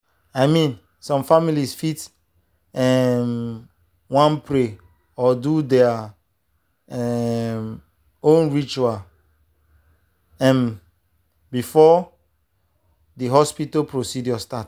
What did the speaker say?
i mean some families fit um wan pray or do their um own ritual um before the hospital procedure start.